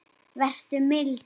Vertu mildur.